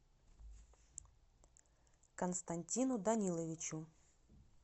константину даниловичу